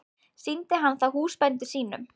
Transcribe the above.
Sýndi hann það húsbændum sínum.